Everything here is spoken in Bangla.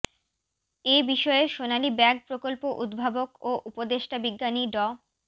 এ বিষয়ে সোনালি ব্যাগ প্রকল্প উদ্ভাবক ও উপদেষ্টা বিজ্ঞানী ড